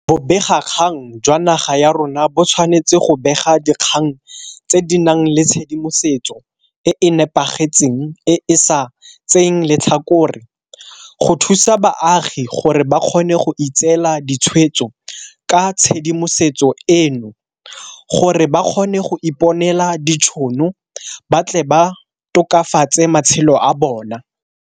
Bobegakgang jwa naga ya rona bo tshwanetse go bega dikgang tse di nang le tshedimosetso e e nepagetseng e e sa tseyeng letlhakore, go thusa baagi gore ba kgone go itseela ditshwetso ka tshedimosetso eno, gore ba kgone go iponela ditšhono ba tle ba tokafatse matshelo a bona.